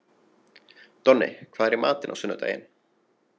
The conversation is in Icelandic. Donni, hvað er í matinn á sunnudaginn?